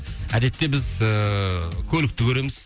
әдетте біз ііі көлікті көреміз